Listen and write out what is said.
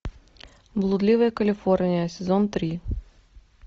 блудливая калифорния сезон три